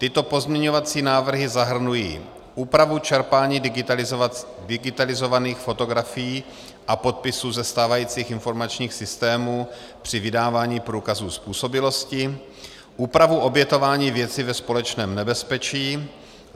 Tyto pozměňovací návrhy zahrnují úpravu čerpání digitalizovaných fotografií a podpisů ze stávajících informačních systémů při vydávání průkazů způsobilosti; úpravu obětování věci ve společném nebezpečí;